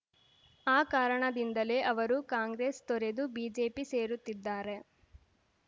ಆ ಕಾರಣದಿಂದಲೇ ಅವರು ಕಾಂಗ್ರೆಸ್ ತೊರೆದು ಬಿಜೆಪಿ ಸೇರುತ್ತಿದ್ದಾರೆ